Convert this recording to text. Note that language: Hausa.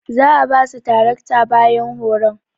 Za'a basu tarakta bayan horon.